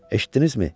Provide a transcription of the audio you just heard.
Eşitdinizmi?